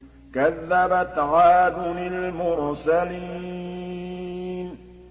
كَذَّبَتْ عَادٌ الْمُرْسَلِينَ